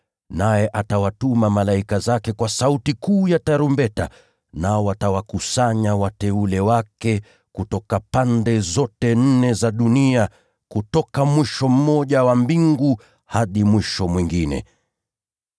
Naye atawatuma malaika zake kwa sauti kuu ya tarumbeta, nao watawakusanya wateule wake kutoka pande zote nne za dunia, kutoka mwisho mmoja wa mbingu hadi mwisho mwingine.